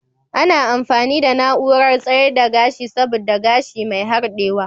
Ana amfani da na'urar tsayar da gashi saboda gashi mai harɗewa.